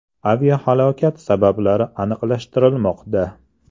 Aviahalokat sabablari aniqlashtirilmoqda.